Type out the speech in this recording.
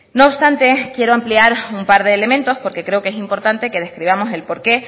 no obstante quiero ampliar un par de elementos porque creo que es importante que describamos el porqué